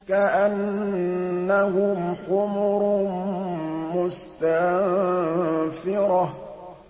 كَأَنَّهُمْ حُمُرٌ مُّسْتَنفِرَةٌ